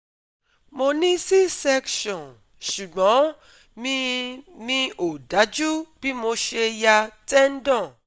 Mo ní c section ṣùgbọ́n mi mi ò dájú bí mo ṣe ya tendon